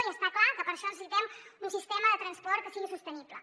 i està clar que per això necessitem un sistema de transport que sigui sostenible